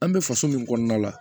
An bɛ faso min kɔnɔna la